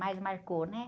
Mais marcou, né?